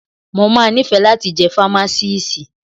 Mo máa nífẹ̀ẹ́ láti jẹ́ fámásíìsì.